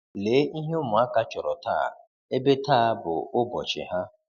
Lee ihe ụmụaka chọrọ taa, ebe taa bụ ụbọchị ha.